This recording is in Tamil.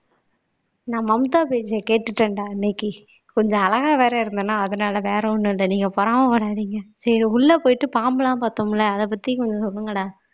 நான் மம்தா பேஜ்ஜியை கேட்டுட்டேன்டா இன்னைக்கு கொஞ்சம் அழகா வேற இருந்தேன்னா அதனால வேற ஒண்ணும் இல்லை நீங்க பொறாமை படாதீங்க சரி உள்ள போயிட்டு பாம்பெல்லாம் பார்த்தோம்ல அத பத்தி கொஞ்சம் சொல்லுங்கடா